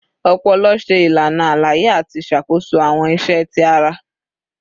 Ọpọlọ ṣe ilana alaye ati ṣakoso awọn iṣẹ ti ara